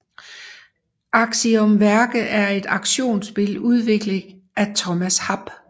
Axiom Verge er et actionspil udviklet af Thomas Happ